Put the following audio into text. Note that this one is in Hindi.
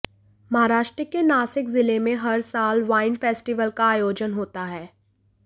महाराष्ट्र के नासिक जिले में हर साल वाइन फेस्टिवल का आयोजन होता है